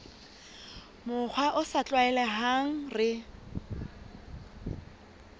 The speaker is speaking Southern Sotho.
mokgwa o sa tlwaelehang re